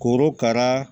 Korokara